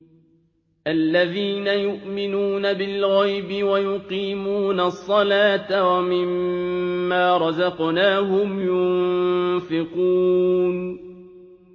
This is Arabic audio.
الَّذِينَ يُؤْمِنُونَ بِالْغَيْبِ وَيُقِيمُونَ الصَّلَاةَ وَمِمَّا رَزَقْنَاهُمْ يُنفِقُونَ